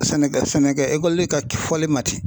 Sɛnɛkɛ sɛnɛkɛ ka fɔli nati.